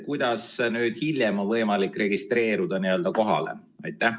Kuidas nüüd hiljem on võimalik kohalolijaks registreeruda?